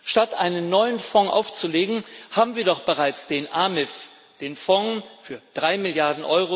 Statt einen neuen Fonds aufzulegen, haben wir doch bereits den AMIF, den Fond von 3 Mrd.